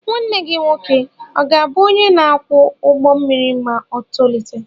Nwa gị nwoke ọ̀ ga-abụ onye na-akwọ ụgbọ mmiri ma o tolite?